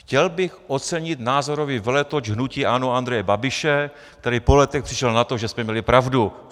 Chtěl bych ocenit názorový veletoč hnutí ANO Andreje Babiše, který po letech přišel na to, že jsme měli pravdu.